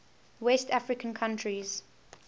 west african countries